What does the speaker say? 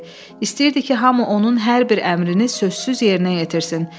İstəyirdi ki, hamı onun hər bir əmrini sözsüz yerinə yetirsin.